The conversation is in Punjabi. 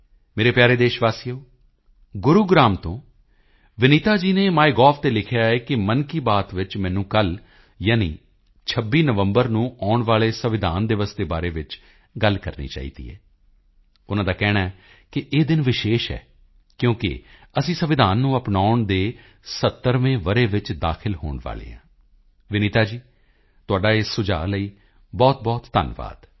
ਮੇਰੇ ਪਿਆਰੇ ਦੇਸ਼ ਵਾਸੀਓ ਗੁਰੂਗ੍ਰਾਮ ਤੋਂ ਵਿਨੀਤਾ ਜੀ ਨੇ ਮਾਈਗੋਵ ਤੇ ਲਿਖਿਆ ਹੈ ਕਿ ਮਨ ਕੀ ਬਾਤ ਵਿੱਚ ਮੈਨੂੰ ਕੱਲ੍ਹ ਯਾਨੀ 26 ਨਵੰਬਰ ਨੂੰ ਆਉਣ ਵਾਲੇ ਸੰਵਿਧਾਨ ਦਿਵਸ ਦੇ ਬਾਰੇ ਵਿੱਚ ਗੱਲ ਕਰਨੀ ਚਾਹੀਦੀ ਹੈ ਉਨ੍ਹਾਂ ਦਾ ਕਹਿਣਾ ਹੈ ਕਿ ਇਹ ਦਿਨ ਵਿਸ਼ੇਸ਼ ਹੈ ਕਿਉਂਕਿ ਅਸੀਂ ਸੰਵਿਧਾਨ ਨੂੰ ਅਪਣਾਉਣ ਦੇ 70ਵੇਂ ਵਰੇ ਵਿੱਚ ਦਾਖਲ ਹੋਣ ਵਾਲੇ ਹਾਂ ਵਿਨੀਤਾ ਜੀ ਤੁਹਾਡਾ ਇਸ ਸੁਝਾਅ ਲਈ ਬਹੁਤਬਹੁਤ ਧੰਨਵਾਦ